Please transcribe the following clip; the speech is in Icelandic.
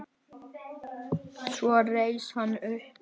Svo reis hann upp.